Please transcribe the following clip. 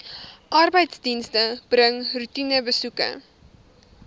arbeidsdienste bring roetinebesoeke